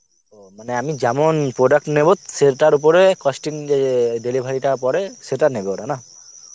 মানে আমি যেমন product নেবো সেটার ওপরে costing যে delivery টা পরে সেটা নেবে ওরা না?